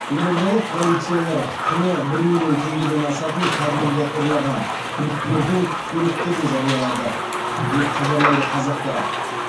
елордалық полициялар құны бір миллион теңгеден асатын кабельді ұрлаған күдіктілердің суреттерін жариялады деп хабарлайды қазақпарат